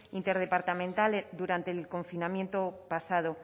interdepartamental durante el confinamiento pasado